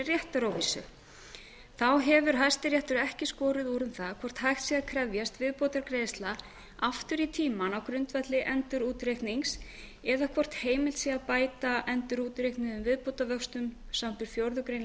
réttaróvissu þá hefur hæstiréttur ekki skorið úr um hvort hægt sé að krefjast viðbótargreiðslna aftur í tímann á grundvelli endurútreiknings eða hvort heimilt sé að bæta endurútreiknuðum viðbótarvöxtum samanber fjórðu grein laga